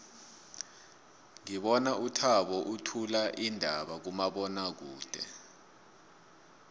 ngibona uthabo uthula iindaba kumabonwakude